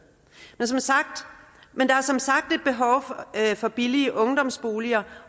men der er som sagt et behov for billige ungdomsboliger